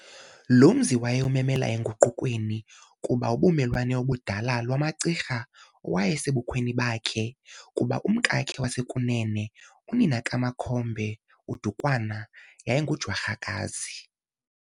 Lo mzi wayewumemela enguqukweni, kuba ubulumelwane obudala lwamaCirha olwaye sebukhweni bakhe, kuba umkakhe wasekunene, unina kaMakhombe Dukwana yayi ngumJwarhakazi.